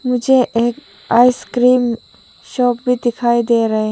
मुझे एक ice cream shop भी दिखाई दे रहे।